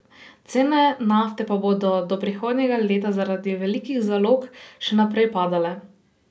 Cene nafte pa bodo do prihodnjega leta zaradi velikih zalog še naprej padale.